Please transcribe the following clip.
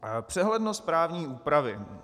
Přehlednost právní úpravy.